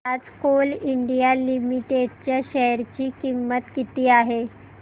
आज Coal India Limited च्या share ची किंमत किती आहे